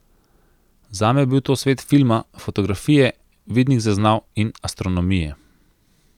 Zame je bil to svet filma, fotografije, vidnih zaznav in astronomije.